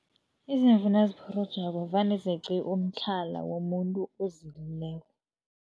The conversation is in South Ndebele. Izimvu nazipholojako, vane zeqe umtlhala womuntu ozilileko.